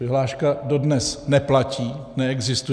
Vyhláška dodnes neplatí, neexistuje.